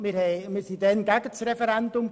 Wir waren damals gegen das Referendum.